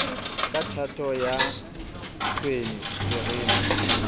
ka thato ya tshwene terene